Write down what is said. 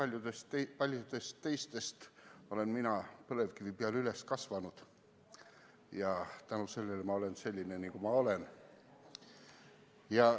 Erinevalt paljudest teistest olen mina põlevkivi peal üles kasvanud ja tänu sellele ma olen selline, nagu ma olen.